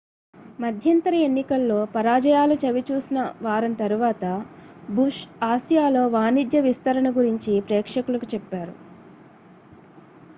మధ్యంతర ఎన్నికల్లో పరాజయాలు చవి చూసిన వారం తర్వాత బుష్ ఆసియాలో వాణిజ్య విస్తరణ గురించి ప్రేక్షకులకు చెప్పారు